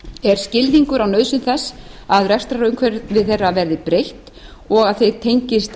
er skilningur á nauðsyn þess að rekstrarumhverfi þeirra verði breytt og að þeir tengist